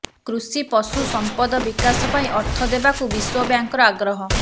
କୃଷି ପଶୁ ସମ୍ପଦ ବିକାଶ ପାଇଁ ଅର୍ଥ ଦେବାକୁ ବିଶ୍ବ ବ୍ୟାଙ୍କର ଆଗ୍ରହ